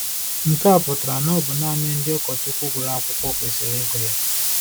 Nke a pụtara na ọ bụ nanị ndị ụkọchukwu gụrụ akwụkwọ kwesịrị ịgụ ya.